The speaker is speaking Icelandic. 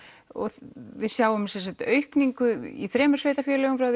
og við sjáum aukningu í þremur sveitarfélögum